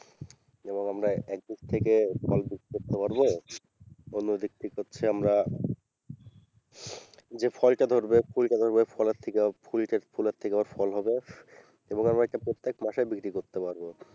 এবং আমরা একদিক থেকে ফল বিক্রি করতে পারবো অন্যদিক থেকে হচ্ছে আমরা যে ফল টা ধরবে ফুলটা ধরবে ফলের থেকে ফুলটা ফুলের থেকে আবার ফল হবে এবং আমরা এটা প্রত্যেক মাসে বিক্রি করতে পারবো।